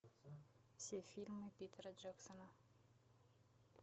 все фильмы питера джексона